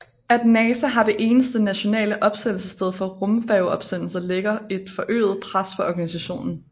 At NASA har det eneste nationale opsendelsessted for rumfærge opsendelser lægger et forøget pres på organisationen